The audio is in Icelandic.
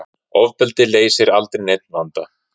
Ofbeldi leysi aldrei neinn vanda